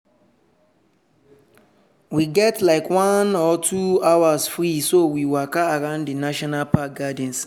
we get like one or two hours free so we waka around di national park gardens.